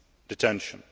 unnecessary.